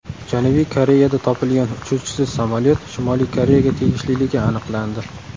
Janubiy Koreyada topilgan uchuvchisiz samolyot Shimoliy Koreyaga tegishliligi aniqlandi.